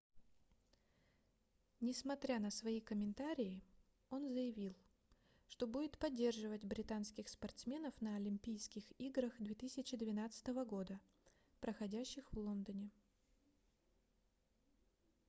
несмотря на свои комментарии он заявил что будет поддерживать британских спортсменов на олимпийских играх 2012 года проходящих в лондоне